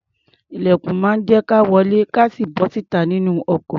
Ilẹ̀kùn máa ń jẹ́ ka wọlé kí a sì bọ́ta nínú ọkọ̀.